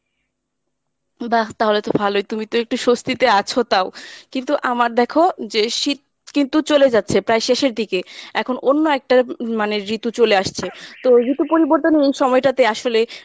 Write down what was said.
বাহ! তাহলে তো ভালোই তুমি তো একটু স্বস্তিতে আছো তাও, কিন্তু আমার দেখো যে শীত কিন্তু চলে যাচ্ছে প্রায় শেষের দিকে এখন অন্য একটা উম মানে ঋতু চলে আসছে তো ঋতু পরিবর্তনের এই সময়টাতে আসলে